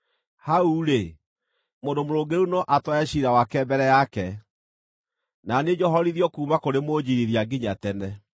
Hau-rĩ, mũndũ mũrũngĩrĩru no atware ciira wake mbere yake, na niĩ njohorithio kuuma kũrĩ mũnjiirithia nginya tene.